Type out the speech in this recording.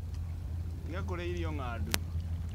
Tiga kũrĩa irio ngandu